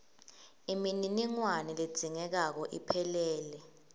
imininingwane ledzingekako iphelele